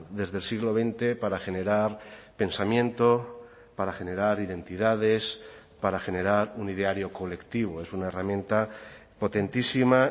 desde el siglo veinte para generar pensamiento para generar identidades para generar un ideario colectivo es una herramienta potentísima